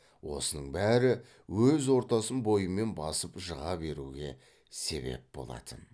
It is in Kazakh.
осының бәрі өз ортасын бойымен басып жыға беруге себеп болатын